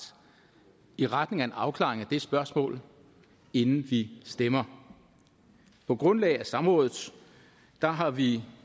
i retning af en afklaring af det spørgsmål inden vi stemmer på grundlag af samrådet har vi